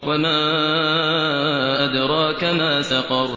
وَمَا أَدْرَاكَ مَا سَقَرُ